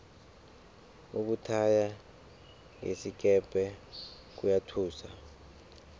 ukuthaya ngesikepe kuyathusa